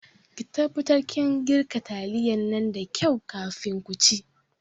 Ki taɓatar kin girka taliyan nan da kau kafin ku ci